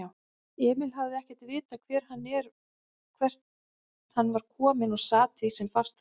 Emil hafði ekkert vitað hvert hann var kominn og sat því sem fastast.